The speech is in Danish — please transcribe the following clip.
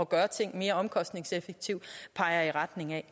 gøre ting mere omkostningseffektivt peger i retning af